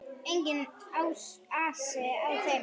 Enginn asi á þeim.